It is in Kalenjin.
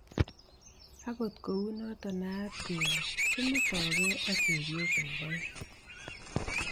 Agot kounoto naanat kele kimettoge ak chepyosok aeng